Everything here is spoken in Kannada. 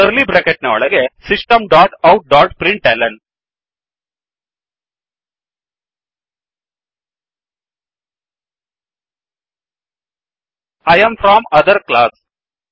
ಕರ್ಲಿ ಬ್ರೆಕೆಟ್ ಒಳಗೆ system dot out dot println I am from other class I am from other class